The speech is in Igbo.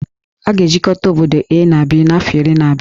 A ga-ejikọta obodo A na B n'afọ iri na-abịa